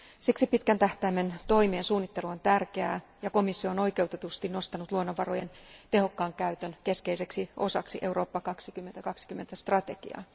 Siksi pitkän tähtäimen toimet ja suunnittelu on tärkeää ja komissio on oikeutetusti nostanut luonnonvarojen tehokkaan käytön keskeiseksi osaksi Eurooppa 2020 strategiaa.